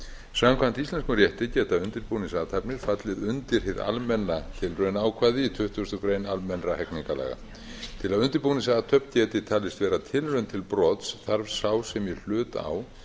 samkvæmt íslenskum rétti geta undirbúningsathafnir fallið undir hið almenna tilraunaákvæði í tuttugustu greinar almennra hegningarlaga til að undirbúningsathöfn geti talist vera tilraun til brots þarf sá sem í hlut á